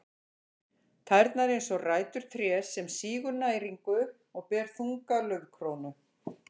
Tærnar eins og rætur trés sem sýgur næringu og ber þunga laufkrónu.